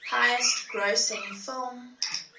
highest grossing film